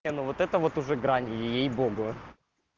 не ну вот это вот уже грань ей-богу